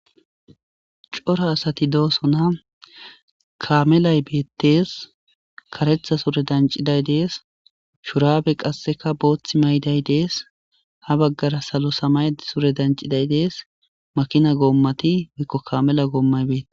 cora asati doosona kaamelay beettees karetha sure danciday dees shuraabe qasseka booththi mayday dees ha baggara salo samay sure danciday dees makina goommati wikko kamela goommay beette